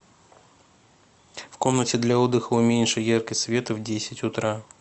в комнате для отдыха уменьши яркость света в десять утра